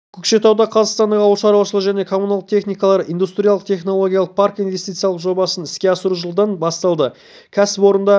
көкшетауда қазақстандық ауыл шаруашылығы және коммуналдық техникалар индустриялық-технологиялық паркі инвестициялық жобасын іске асыру жылдан басталды кәсіпорында